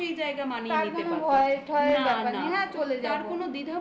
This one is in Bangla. তার কোনো ভয় টয় ব্যাপার নেই. হ্যাঁ চলে যাব.